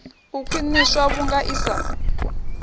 u khwiṋiswa vhunga i sa